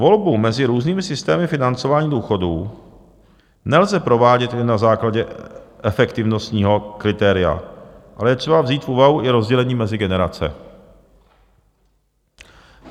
Volbu mezi různými systémy financování důchodů nelze provádět jen na základě efektivnostního kritéria, ale je třeba vzít v úvahu i rozdělení mezi generace.